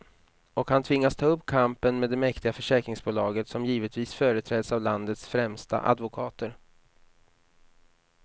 Och han tvingas ta upp kampen med det mäktiga försäkringsbolaget, som givetvis företräds av landets främsta advokater.